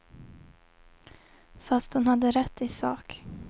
Fast hon hade rätt i sak.